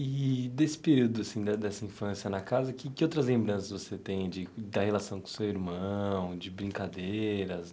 E desse período, assim, da dessa infância na casa, que que outras lembranças você tem de da relação com seu irmão, de brincadeiras?